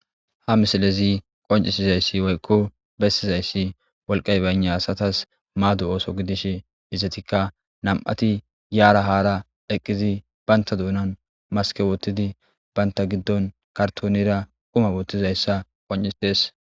Ha misilezi qonccissizeyssi woykko bessizayssi wolqqay baynna asathaas maado oose gidishe izethikka nam7athi yaara haara eqqizi banththa doonan maskke woththidi banththa giddon karththooneera quma woththizayssa qonccissees.